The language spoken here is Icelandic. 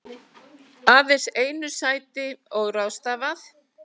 Aðeins einu sæti óráðstafað